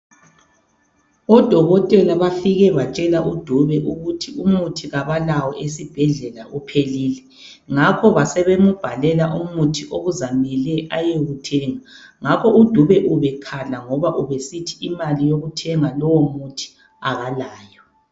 Odokotela bafike batshela uDube ukuthi umuthi kabalawo esebhedlela uphelile ngakho basebembalela umuthi okuzamele ayewuthenga, ngakho uDube ubekhala ngoba ubesithi imali yokuthenga lowo umuthi akalayo.